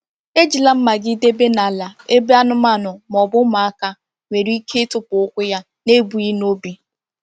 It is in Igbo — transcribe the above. Ejila mma gị debe n’ala ebe anụmanụ ma ọ bụ ụmụaka nwere ike ịtụpụ ụkwụ ya n’ebughị n’obi.